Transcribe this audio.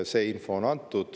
See info on antud.